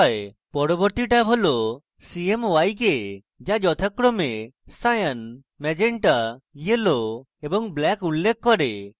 পরবর্তী ট্যাব হল cmyk the যথাক্রমে cyan magenta yellow এবং black উল্লেখ করে